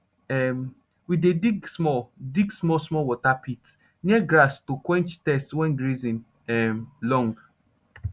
um we dey dig small dig small small water pit near grass to quench thirst wen grazing um long